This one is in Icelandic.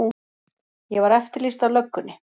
Ég var eftirlýst af löggunni.